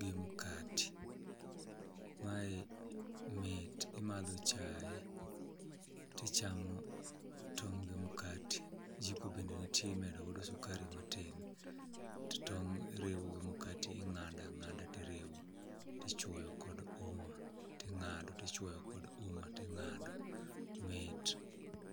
gi mkati. Mae mit imadho chae tichamo tong' gi mkati, jiko bende nitie imedo godo sukari matin. To tong' iriwo gi mkati, ing'ada ng'ada tiriwo, tichwoyo kod uma ting'ado tichwoyo kod uma ting'do, mit.